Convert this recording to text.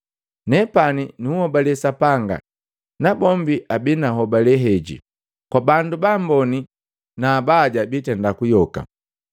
Nepani nunhobale Sapanga, nabombi abii na nhobale heji, kwa bandu baamboni na abaya, bitenda kuyoka.